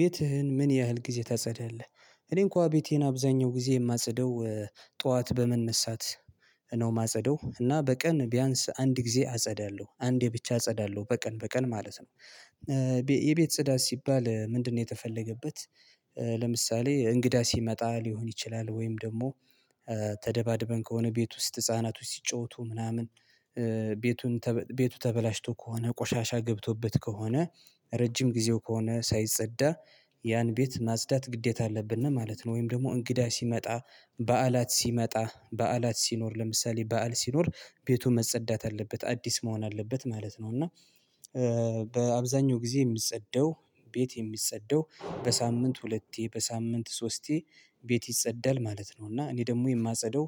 ቤትህን ምን ያህል ጊዜ ታጸዳለህ? እኔን እንኳን ቤቴን አብዛኛው ጊዜ የማጸደው ጠዋት በመነሳት ነው የማጸደው እና በቀን ቢያንስ አንድ ጊዜ አጸዳለሁ አንዴ ብቻ አጸዳለሁ በቀን በቀን ማለት ነው። የቤት ጽዳት ሲባል ምንድነው የተፈለገበት? ለምሳሌ እንግዳ ሲመጣ ሊሆን ይችላል ወይም ደግሞ ተደባድበን ከሆነ ቤት ውስጥ ህፃናቶች ሲጫወቱ ምናምን ቤቱ ተበላሽቶ ከሆነ ቆሻሻ ገብቶበት ከሆነ ረጅም ጊዜው ከሆነ ሳይጸዳ ያን ቤት ማጽዳት ግዴታ አለብነ ነው ማለት ነው። ወይም ደግሞ እንግዳ ሲመጣ በዓላት ሲመጣ በዓላት ሲኖር ለምሳሌ በዓል ሲኖር ቤቱን መጸዳት አለበት አዲስ መሆን አለበት ማለት ነው። እና በአብዛኛው ጊዜ የሚጸደው ቤት የሚጸደው በሳምንት ሁለቴ በሳምንት ሶስቴ ቤት ይጸዳል ማለት ነው እና እኔ ደግሞ የማጸደው